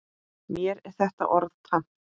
Mér er þetta orð tamt.